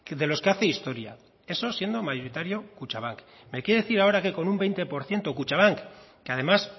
de los que hace historia eso siendo mayoritario kutxabank me quiere decir ahora que con un veinte por ciento kutxabank que además